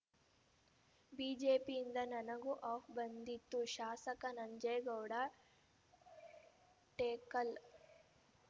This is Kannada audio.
ಬಿಜೆಪಿಯಿಂದ ನನಗೂ ಆಫ್ ಬಂದಿತ್ತು ಶಾಸಕ ನಂಜೇಗೌಡ ಟೇಕಲ್‌